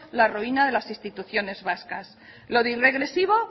la ruina de las instituciones vascas lo de irregresivo